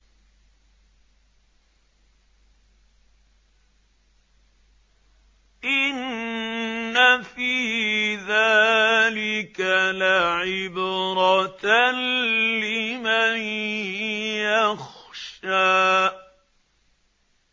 إِنَّ فِي ذَٰلِكَ لَعِبْرَةً لِّمَن يَخْشَىٰ